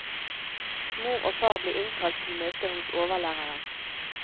Mor og far blir innkalt til møte hos overlæreren.